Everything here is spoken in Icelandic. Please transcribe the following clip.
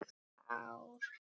Svo féllu tár.